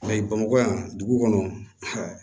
bamakɔ yan dugu kɔnɔ